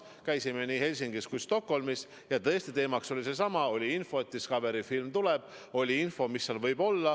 Käisime nii Helsingis kui ka Stockholmis ja tõesti, teema oli seesama – oli info, et tuleb selline Discovery film.